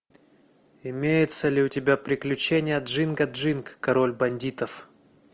имеется ли у тебя приключения джинга джинг король бандитов